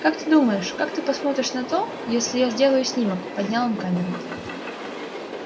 как ты думаешь как ты посмотришь на то если я сделаю снимок поднял он камеру